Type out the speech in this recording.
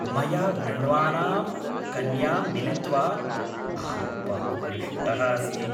मया वृण्वानां कन्यां मिलित्वा अहं बहु हृष्टः अस्मि।